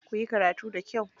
Kuyi karatu da kyau.